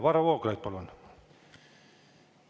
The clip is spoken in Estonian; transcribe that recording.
Varro Vooglaid, palun!